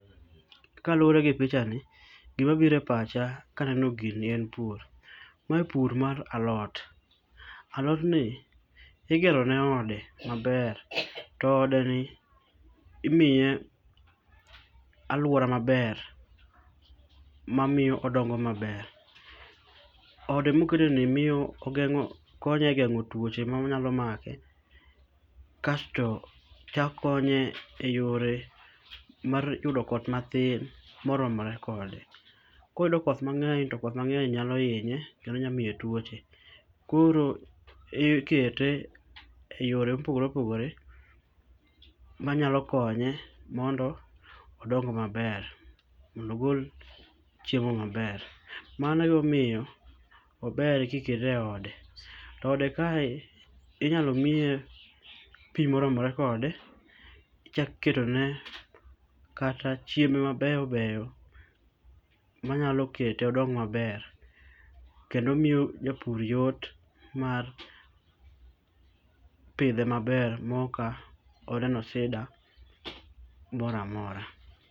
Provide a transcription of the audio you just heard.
Kaluwore gi pichani gima biro e pacha kaneno gini en pur. Mae pur mar alot. Alodni igero ne ode maber to odeni imiye aluora maber mamiyo odongo maber. Ode moketeni miyo konye egeng'o tuoche manyalo make kasto chako konye eyore mar yudo koth matin moromore kode. Koyudo koth mang'eny to koth mang'eny nyalo hinye kendo nyalo miye tuoche. Koro ikete e yore mopogore opogore manyalo konye mondo odong maber mondo ogol chiemo maber. Mano emomiyo ober ka ikete eode. To eode kae inyalo miye pi moromore kode ichako iketone kata chiembe mabeyo beyo manyalo kete odong maber kendo omiyo japur yot mar pidhe maber maok oneno sida moro amora.